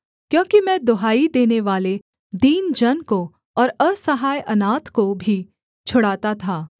क्योंकि मैं दुहाई देनेवाले दीन जन को और असहाय अनाथ को भी छुड़ाता था